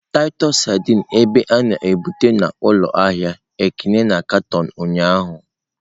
Titus sardines ebe a na-ebuba n'ụlọ ahịa Ekene na katọn ụnyahụ.